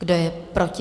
Kdo je proti?